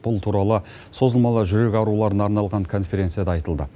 бұл туралы созылмалы жүрек ауруларына арналған конференцияда айтылды